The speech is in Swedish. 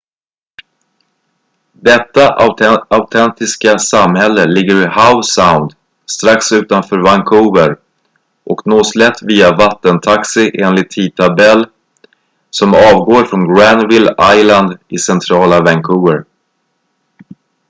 detta autentiska samhälle ligger i howe sound strax utanför vancouver och nås lätt via vattentaxi enligt tidtabell som avgår från granville island i centrala vancouver